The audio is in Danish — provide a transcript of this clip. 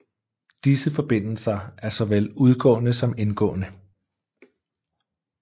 Disse forbindelser er såvel udgående som indgående